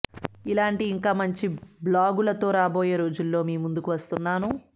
ఇలాంటి ఇంకా మంచి బ్లాగులతో రాబోయే రోజుల్లో మీ ముందుకు వస్తున్నాను